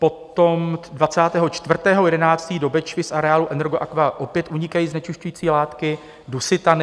Potom 24. 11. do Bečvy z areálu Energoaqua opět unikají znečišťující látky - dusitany.